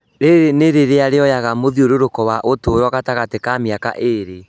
Rĩrĩ nĩ rĩrĩa rĩoyaga mũthiũrũrũko wa ũturo gatagatĩ ka mĩaka ĩrĩ